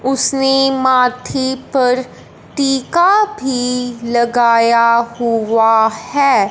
उसने माथे पर टीका भी लगाया हुआ है।